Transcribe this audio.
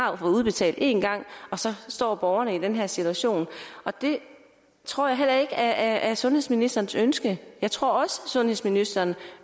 har fået udbetalt en gang og så står borgerne i den her situation og det tror jeg er sundhedsministerens ønske jeg tror også sundhedsministeren